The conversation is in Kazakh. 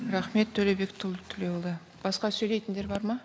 рахмет төлеубек төлеуұлы басқа сөйлейтіндер бар ма